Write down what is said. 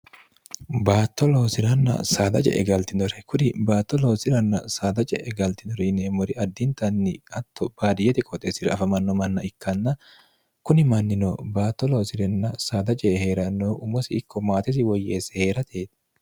baatto loosiranna saada je'e galtinore kuri baatto loosiranna saada je'e galtinore yineemmori addintanni atto baariyete qooxeessira afamanno manna ikkanna kuni mannino baatto loosirenna saada je e hee'ranno umosi ikko maatesi woyyeesse hee'ratee